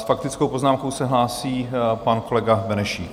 S faktickou poznámkou se hlásí pan kolega Benešík.